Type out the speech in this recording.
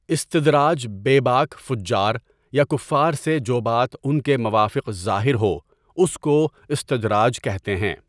اِسْتِدراج بے باک فُجّاریا کفار سے جوبات ان کے موافق ظاہرہواس کواستدراج کہتے ہیں.